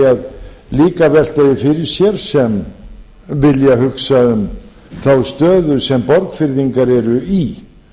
líka að velta því fyrir sér sem vilja hugsa um þá stöðu sem borgfirðingar eru í